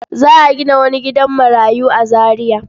Za a gina wani gidan marayu a Zariya.